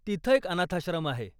तिथं एक अनाथाश्रम आहे.